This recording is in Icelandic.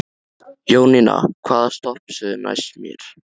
Jóninna, hvaða stoppistöð er næst mér?